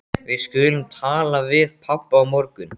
Við skulum tala við pabba á morgun.